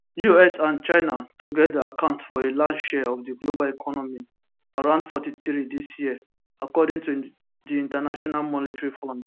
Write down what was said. us and china togeda account for a large share of di global economy around 43 dis year according to di international monetary fund